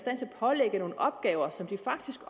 pålægge nogle opgaver som de faktisk